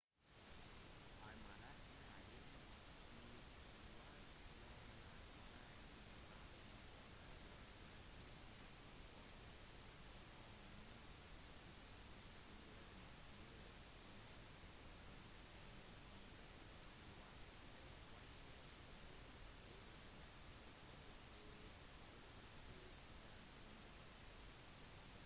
i malaysia derimot i hvert fall blant malayene i landlige områder betyr det «kom hit» nesten som når pekefingeren bøyes mot kroppen en gest som brukes i visse vestlige kulturer og bare bør brukes på den måten